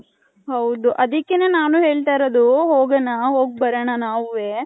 ಹೌದು ಅದ್ದಿಕೆನೆ ನಾನು ಹೇಳ್ತೈರದು ಹೋಗಣ ಹೋಗ್ ಬರಣ ನವುವೆ .